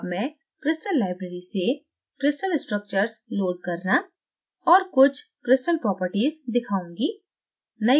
अब मैं crystal library से crystal structures load करना और कुछ crystal properties दिखाऊँगी